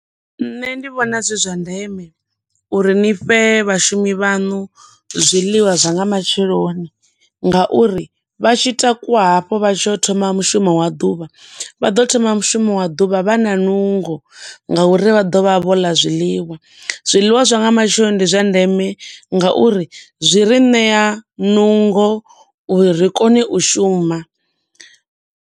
Nṋe ndi vhona zwi zwa ndeme uri ni fhe vhashumi vhaṋu zwiḽiwa zwa nga matsheloni, nga uri vha tshi takuwa hafho vha tshi ya u thoma mushumo wa ḓuvha, vha ḓo thoma mushumo wa ḓuvha vha na nungo nga uri vha ḓo vha vho ḽa zwiḽiwa. Zwiḽiwa zwa nga matsheloni ndi zwa ndeme nga uri zwi ri ṋea nungo uri ri kone u shuma.